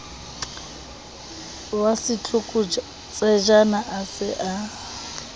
wa setlokotsejana a se a